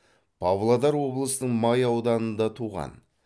павлодар облысының май ауданында туған